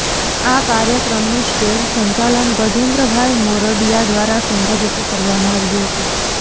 આ કાર્યક્રમનું સ્ટેજ સંચાલન ગજેન્દ્રભાઈ મોરડીયા દ્વારા સુંદર રીતે કરવામાં આવ્યું હતું